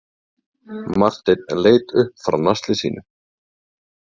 Marteinn leit upp frá nasli sínu.